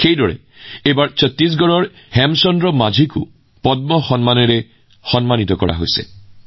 একেদৰে এইবাৰ ছত্তীশগড়ৰ হেমচান্দ মাঞ্জীয়েও পদ্ম বঁটা লাভ কৰিছে